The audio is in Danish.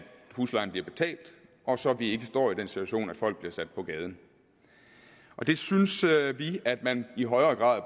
huslejen bliver betalt og så vi ikke står i den situation at folk bliver sat på gaden det synes vi at man i højere grad